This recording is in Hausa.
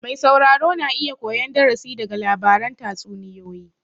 Mai sauraro na iya koyan darasi daga labaran tatsuniyoyi